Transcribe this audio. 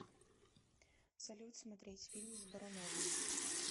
салют смотреть фильм с боруновым